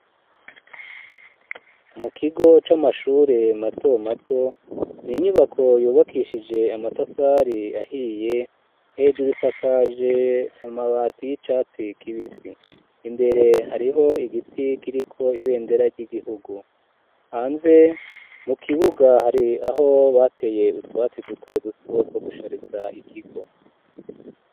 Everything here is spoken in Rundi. mu kigo c'amashure mato mato ni inyubako yubakishije amatafari ahiye hejuru isakaje amabati y'icatsi kibisi, imbere hariho igiti kiriko ibendera ry'igihugu, hanze mu kibuga hari aho bateye utwatsi duto duto two gushariza ikigo.